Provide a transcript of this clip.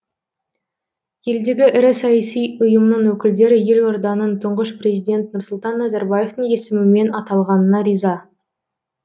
елдегі ірі саяси ұйымның өкілдері елорданың тұңғыш президент нұрсұлтан назарбаевтың есімімен аталғанына риза